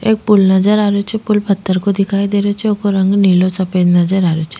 एक पुल नजर आ रेहो छे पुल पत्थर को दिखाई दे रेहो छे वोको रंग नीलो सफ़ेद नजर आ रेहो छे।